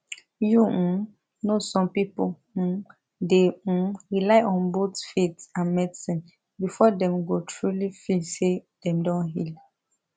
you um know some people um dey um rely on both faith and medicine before dem go truly feel say dem don heal